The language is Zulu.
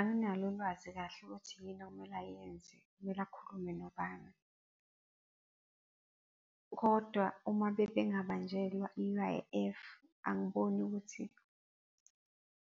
Anginalo ulwazi kahle ukuthi yini okumele ayenze, kumele akhulume nobani. Kodwa uma bebengabanjelwa i-U_I_F, angiboni ukuthi